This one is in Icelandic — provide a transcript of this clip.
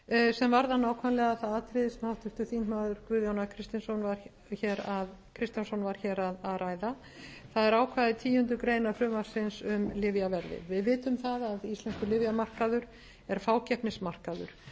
sem varðar nákvæmlega það atriði sem háttvirtur þingmaður guðjón a kristjánsson var hér að ræða það eru ákvæði tíundu greinar frumvarpsins um lyfjaverðið við vitum það að íslenskur lyfjamarkaður er fákeppnismarkaður